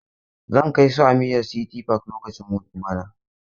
Zan kai su Amira City park lokacin hutu bana.